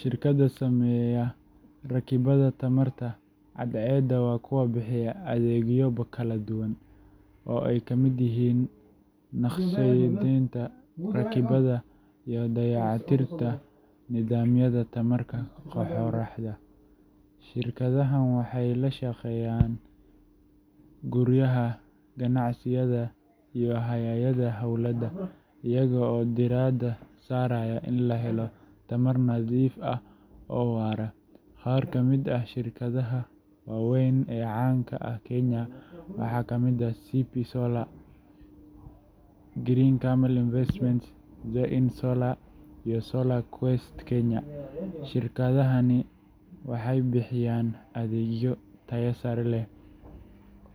Shirkadaha sameeya rakibaadda tamarta cadceedda waa kuwo bixiya adeegyo kala duwan oo ay ka mid yihiin naqshadeynta, rakibaadda, iyo dayactirka nidaamyada tamarta qoraxda. Shirkadahan waxay ka shaqeeyaan guryaha, ganacsiyada, iyo hay’adaha dowladda, iyaga oo diiradda saaraya in la helo tamar nadiif ah oo waara. Qaar ka mid ah shirkadaha waaweyn ee caan ka ah Kenya waxaa ka mid ah CP Solar, Ecoverse Solutions, Green Camel Investments, Zaion Solar, iyo Solar Quest Kenya. Shirkadahani waxay bixiyaan adeegyo tayo sare leh